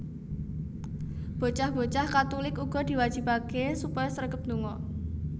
Bocah bocah Katulik uga diwajibaké supaya sregep ndonga